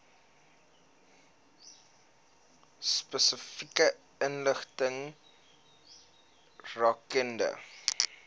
spesifieke inligting rakende